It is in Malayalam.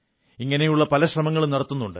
ഇങ്ങനെയുള്ള പല ശ്രമങ്ങളും നടത്തുന്നുണ്ട്